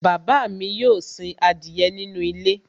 Bàbá mi yóò sin adìyẹ nínú ilé